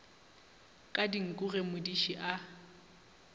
ka dinku ge modiši a